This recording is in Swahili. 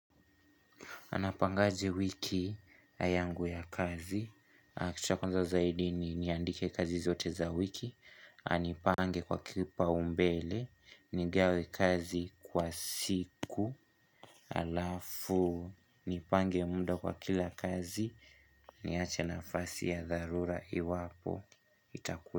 Napangaje wiki yangu ya kazi. Kitu cha kwanza zaidi niniandike kazi zote za wiki. Na nipange kwa kipaumbele. Nigawe kazi kwa siku alafu. Nipange muda kwa kila kazi. Niache nafasi ya dharura iwapo.